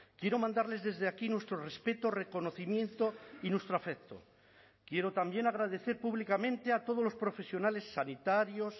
quiero mandarles desde aquí nuestro respeto reconocimiento y nuestro afecto quiero también agradecer públicamente a todos los profesionales sanitarios